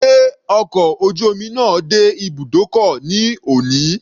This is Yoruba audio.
Sé ọkọ̀ ojú omi náà dé ibùdókọ̀ ní òní?